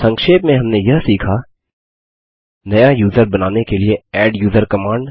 संक्षेप में हमने यह सीखा160 नया यूज़र बनाने के लिए एड्यूजर कमांड